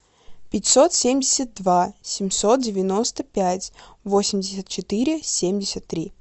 пятьсот семьдесят два семьсот девяносто пять восемьдесят четыре семьдесят три